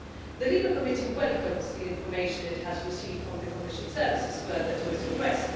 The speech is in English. The LIBE Committee welcomes the information it has received from the Commission services further to its request.